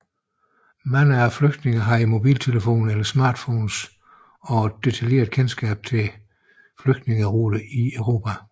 Mange af flygtningene havde mobiltelefoner eller smartphones og et detaljeret kendskab til flygtningeruter i Europa